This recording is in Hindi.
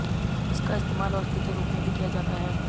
इसका इस्तेमाल औषधि के रूप में भी किया जाता है